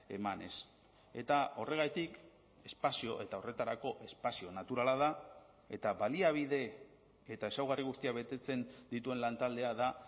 emanez eta horregatik espazio eta horretarako espazio naturala da eta baliabide eta ezaugarri guztiak betetzen dituen lantaldea da